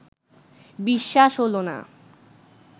বিশ্বাস হলো না